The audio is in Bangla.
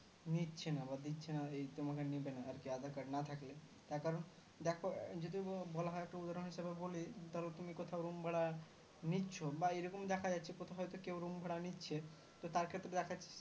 নিচ্ছেনা বা দিচ্ছে না এই তোমাকে নেবে না আর কি aadhar card না থাকলে তার কারণ দেখো যদি বলা হয় একটা উদাহরন হিসাবে বলি ধরো তুমি কোথাও room ভাড়া নিচ্ছ বা এরকম দেখা যাচ্ছে কোথাও হয়তো কেউ room ভাড়া নিচ্ছে তো তার ক্ষেত্রে দেখা যাচ্ছে